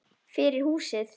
Fyrir húsið.